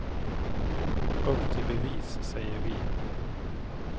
Upp till bevis, säger vi.